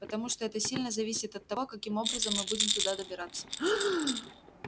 потому что это сильно зависит от того каким образом мы будем туда добираться